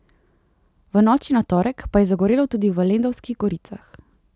V noči na torek pa je zagorelo tudi v Lendavskih Goricah.